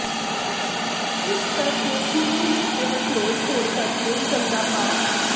ਇਸ ਕਰ ਕੇ ਸੀਵਰੇਜ ਓਵਰਫਲੋਅ ਹੋਣ ਕਰ ਕੇ ਗੰਦਾ ਪਾ